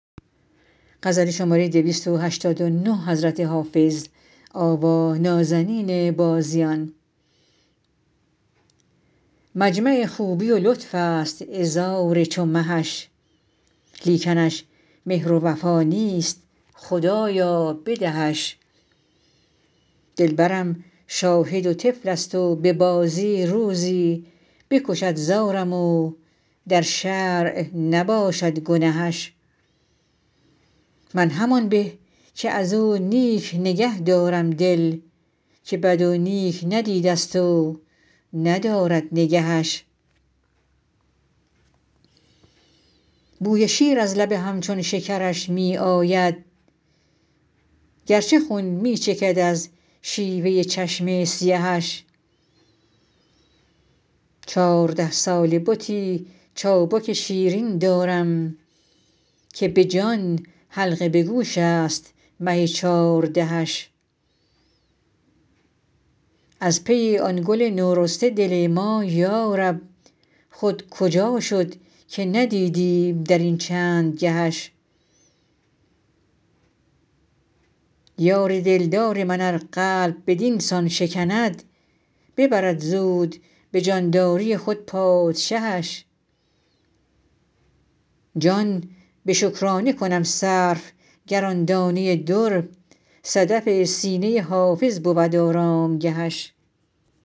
مجمع خوبی و لطف است عذار چو مهش لیکنش مهر و وفا نیست خدایا بدهش دلبرم شاهد و طفل است و به بازی روزی بکشد زارم و در شرع نباشد گنهش من همان به که از او نیک نگه دارم دل که بد و نیک ندیده ست و ندارد نگهش بوی شیر از لب همچون شکرش می آید گرچه خون می چکد از شیوه چشم سیهش چارده ساله بتی چابک شیرین دارم که به جان حلقه به گوش است مه چاردهش از پی آن گل نورسته دل ما یارب خود کجا شد که ندیدیم در این چند گهش یار دلدار من ار قلب بدین سان شکند ببرد زود به جانداری خود پادشهش جان به شکرانه کنم صرف گر آن دانه در صدف سینه حافظ بود آرامگهش